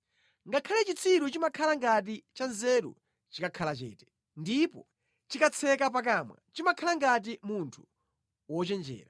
Ngakhale chitsiru chimakhala ngati chanzeru chikakhala chete; ndipo chikatseka pakamwa chimakhala ngati munthu wochenjera.